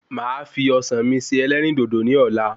Màá fi Ọsàn mi se ẹlẹ́rìndòdò ní Ọ̀la